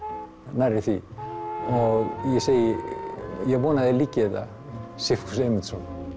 nærri því og ég segi ég vona að þér líki þetta Sigfús Eymundsson